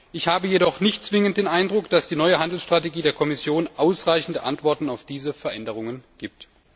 Ich habe jedoch nicht zwingend den Eindruck, dass die neue Handelstrategie der Kommission ausreichende Antworten auf diese Veränderungen gibt.